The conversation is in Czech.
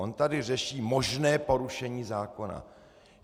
On tady řeší možné porušení zákona.